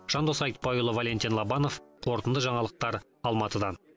жандос айтбайұлы валентин лобанов қорытынды жаңалықтар алматыдан